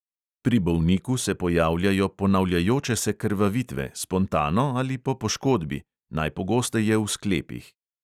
Pri bolniku se pojavljajo ponavljajoče se krvavitve, spontano ali po poškodbi, najpogosteje v sklepih.